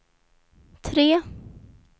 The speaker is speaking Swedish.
tre